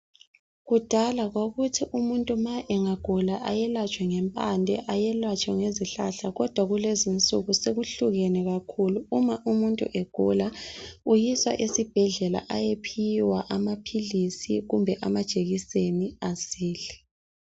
Kudala kwakuthi umuntu ma engagula ayelatshwe ngempande, ayelatshwe ngezihlahla kodwa kulezi insuku sekuhlukene kakhulu. Uma umuntu egula uyiswa esibhedlela ayephiwa amaphilizi kumbe amajekiseni asile.